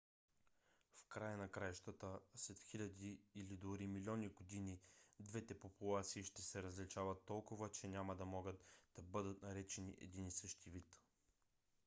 в края на краищата след хиляди или дори милиони години двете популации ще се различават толкова че няма да могат да бъдат наречени един и същ вид